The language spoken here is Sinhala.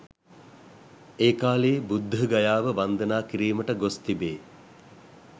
ඒ කාලයේ බුද්ධගයාව වන්දනා කිරීමට ගොස් තිබේ.